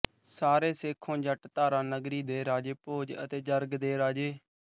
ਸਾਰੇ ਸੇਖੋਂ ਜੱਟ ਧਾਰਾ ਨਗਰੀ ਦੇ ਰਾਜੇ ਭੋਜ ਅਤੇ ਜਰਗ ਦੇ ਰਾਜੇ